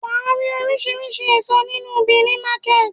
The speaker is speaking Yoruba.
Wàá rí oríṣiríṣi èso ní Níú Bìní market